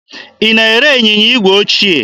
Ị na-ere ịnyịnya igwe ochie?